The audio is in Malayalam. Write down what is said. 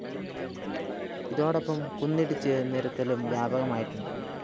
ഇതോടൊപ്പം കുന്നിടിച്ച് നിരത്തലും വ്യാപകമായിട്ടുണ്ട്